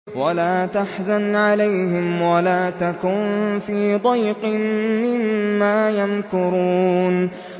وَلَا تَحْزَنْ عَلَيْهِمْ وَلَا تَكُن فِي ضَيْقٍ مِّمَّا يَمْكُرُونَ